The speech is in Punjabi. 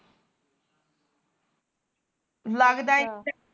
ਲੱਗਦਾ